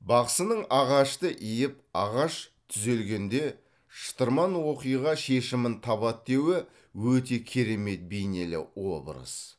бақсының ағашты иіп ағаш түзелгенде шытырман оқиға шешімін табады деуі өте керемет бейнелі образ